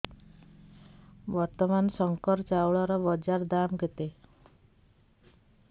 ବର୍ତ୍ତମାନ ଶଙ୍କର ଚାଉଳର ବଜାର ଦାମ୍ କେତେ